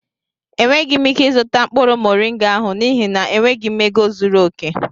Enweghị m ike ịzụta mkpụrụ moringa ahụ n'ihi na enweghị m ego zuru oke